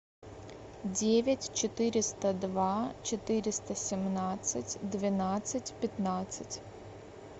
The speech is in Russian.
девять четыреста два четыреста семнадцать двенадцать пятнадцать